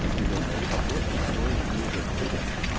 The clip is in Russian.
отделённый от подложки слоем диэлектрика